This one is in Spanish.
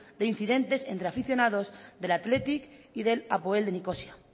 de incidentes entre aficionados del athletic y del apoel de nicosia